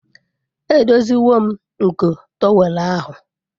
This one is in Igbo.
Edoziwo m nko tọwel ahụ.